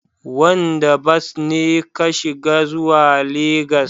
Wanda bas ne ka shiga zuwa Legas?